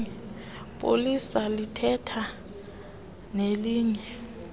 polisa lithetha nelinye